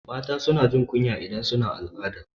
Mata suna jin kunya idan suna al'ada